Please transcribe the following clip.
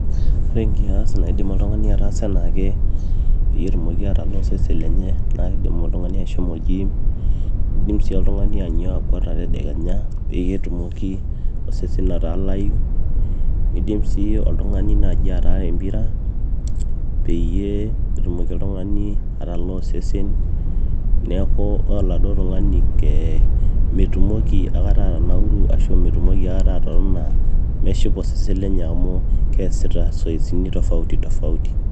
Ore enkias naaidim oltung'ani ataasa enaake peetumoki aataasa oosesen lenye naakeidim oltung'ani ashomo oljiim neidim sii oltung'ani ainyio akuata tedekenya peyie etumoki osesen atalayu niidim sii oltung'ani ataara empira peyie etumoki oltung'ani atalaa osesen neeku ore oladuo tung'ani tee mitumoki akata atanauru ashua mitumoki aikata atotona meshipa osese lenye amu keesita siatini tofauti tofauti